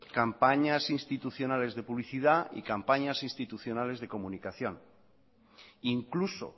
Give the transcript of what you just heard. campañas institucionales de publicidad y campañas institucionales de comunicación incluso